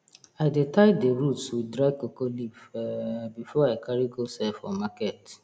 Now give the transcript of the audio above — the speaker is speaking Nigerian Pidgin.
i dey tie the roots with dry cocoa leaf um before i carry go sell for market